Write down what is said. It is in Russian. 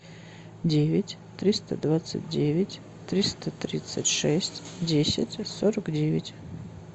девять триста двадцать девять триста тридцать шесть десять сорок девять